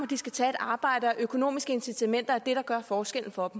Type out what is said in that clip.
de skal tage et arbejde og at økonomiske incitamenter er det der gør forskellen for